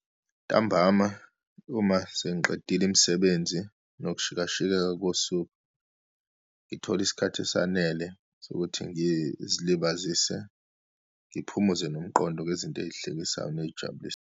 Ntambama uma sengiqedile imisebenzi nokushikashikeka kosuku, ngithola isikhathi esanele sokuthi ngizilibazise ngiphumuze nomqondo ngezinto eyihlekisayo neyijabulisa.